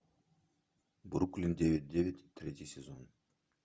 бруклин девять девять третий сезон